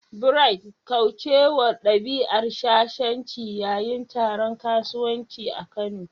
Bright', kaucewa dabi'ar shashanci yayin taron kasuwanci a Kano.